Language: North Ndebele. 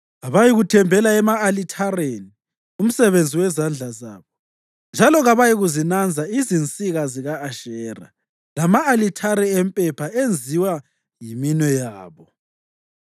Abayikuthembela ema-alithareni, umsebenzi wezandla zabo, njalo kabayikuzinanza izinsika zika-Ashera lama-alithare empepha enziwa yiminwe yabo.